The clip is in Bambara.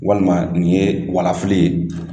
Walima nin ye walafili ye